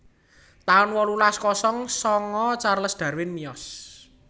taun wolulas kosong sanga Charles Darwin miyos